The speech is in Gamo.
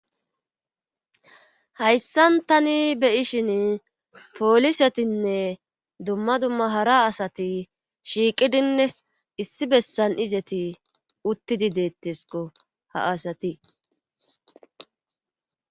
hayssan tani beyishin poolisetinne dumma dumma hara asati shiiqidinne issi bessan izeti uttidi deettesko ha asati